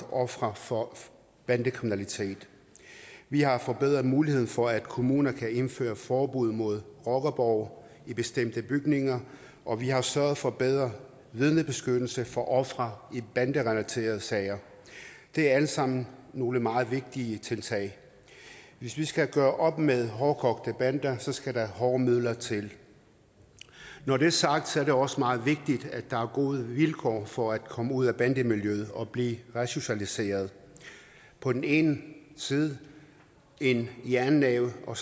ofre for bandekriminalitet vi har forbedret muligheden for at kommunerne kan indføre forbud mod rockerborge i bestemte bygninger og vi har sørget for bedre vidnebeskyttelse for ofre i banderelaterede sager de er alle sammen nogle meget vigtige tiltag hvis vi skal gøre op med hårdkogte bander skal der hårde midler til når det er sagt er det også meget vigtigt at der er gode vilkår for at komme ud af bandemiljøet og blive resocialiseret på den ene side en jernnæve og